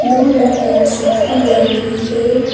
दो लड़कियां सेल्फी ले रही है।